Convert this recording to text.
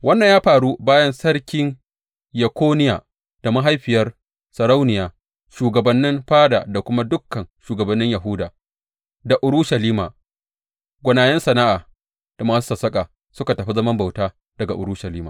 Wannan ya faru bayan Sarki Yekoniya da mahaifiyar sarauniya, shugabannin fada da kuma dukan shugabannin Yahuda da Urushalima, gwanayen sana’a da masu sassaƙa suka tafi zaman bauta daga Urushalima.